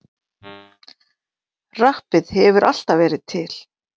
Rappið hefur alltaf verið til.